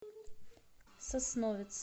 сосновец